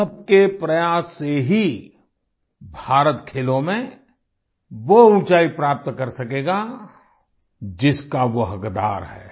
सबके प्रयास से ही भारत खेलों में वो ऊंचाई प्राप्त कर सकेगा जिसका वो हकदार है